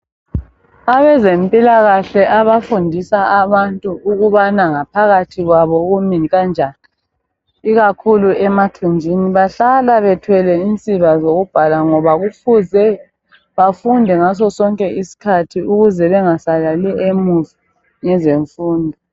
Abezempilakahle abafundisa abantu ukubana ngaphakathi kwabo kumi kanjani ikakhulu emathunjini bahlala bethwele insiba zokubhala ngoba kufuze bafunde ngaso sonke isikhathi ukuze bengasaleli emva ngezemfundo.